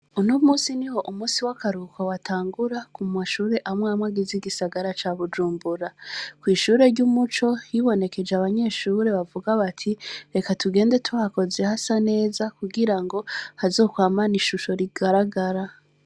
Uno munsi niho umunsi w' akaruhuko watangura ku mashuri amwe amwe agize igisagara ca Bujumbura. Kw' ishure ry' Umuco, hibonekeje abanyeshure bagira bati:" Reka tugende tuhakoze hase neza, hazokwamane ishusho rigaragara."